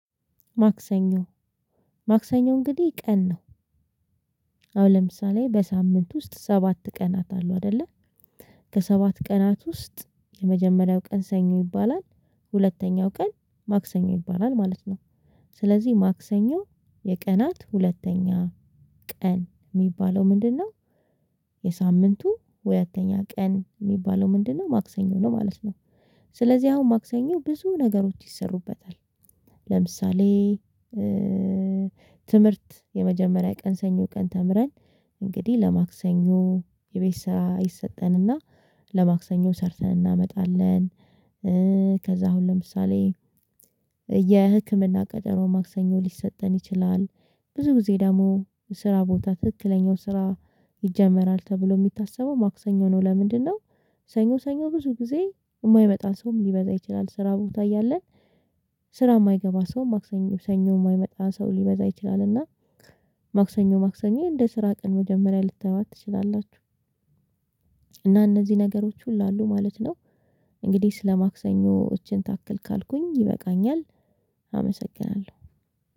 ማክሰኞ ማክሰኞ እንግዲህ ቀን ነው። አሁን ለምሳሌ በሳምንት ውስጥ ሰባት ቀናት አሉ አይደለ። ከሰባት ቀናት ውስጥ የመጀመሪያው ቀን ሰኞ ይባላል። ሁለተኛው ቀን ማክሰኞ ይባላል ማለት ነው። ስለዚህ ማክሰኞ የቀናት ሁለተኛ ቀን የሚባለው ምንድነው? የሳምንቱ ሁለተኛ ቀን የሚባለው ምንድነው? ማክሰኞ ነው ማለት ነው። ስለዚህ አሁን ማክሰኞ ብዙ ነገሮች ይሰሩበታል። ለምሳሌ ትምህርት የመጀመሪያ ቀን ሰኞ ቀን ተምረን እንግዲህ ለማክሰኞ የቤት ስራ ይሰጠንና ለማክሰኞ ሰርተን እናመጣለን። ከዛ አሁን ለምሳሌ የህክምና ቀጠሮ ማክሰኞ ሊሰጠን ይችላል። ብዙ ጊዜ ደግሞ የስራ ቦታ ትክክለኛው ስራ ይጀመራል ተብሎ የሚታሰበው ማክሰኞ ነው ለምንድነው? ሰኞ ሰኞ ብዙ ጊዜ የማይመጣ ሰውም ሊበዛ ይችላል ስራ ቦታ እያለን። ስራ የማይገባ ሰውም ማክሰኞ ሰኞ የማይመጣ ሰው ሊበዛ ይችላልና። ማክሰኞ ማክሰኞ እንደ ስራ ቀን መጀመሪያ ልታዩዋት ትችላላችሁ። እና እነዚህ ነገሮች ሁሉ አሉ ማለት ነው። እንግዲህ ስለ ማክሰኞ እችን ታክል ካልኩኝ ይበቃኛል። አመሰግናለሁ።